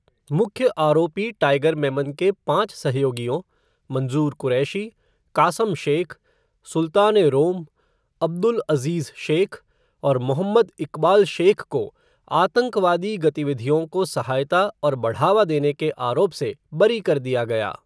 मुख्य आरोपी टाइगर मेमन के पांच सहयोगियों, मंजूर कुरैशी, कासम शेख, सुल्तान ए रोम, अब्दुल अज़ीज़ शेख, और मोहम्मद इक़बाल शेख को आतंकवादी गतिविधियों को सहायता और बढ़ावा देने के आरोप से बरी कर दिया गया।